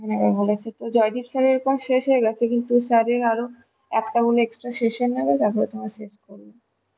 Joydeep sir এর class শেষ হয়ে গেছে কিন্তু sir-এর আরো একটা মনেহয় session নেবে তারপর শেষ করবে